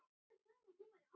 Ég hélt það einu sinni.